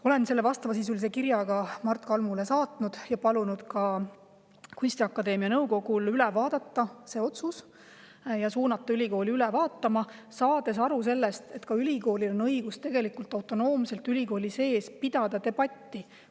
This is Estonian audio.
Olen vastavasisulise kirja Mart Kalmule saatnud ja palunud kunstiakadeemia nõukogul ning ülikoolil see otsus üle vaadata, saades aru sellest, et ka ülikoolil on tegelikult õigus ülikooli sees autonoomselt debatti pidada.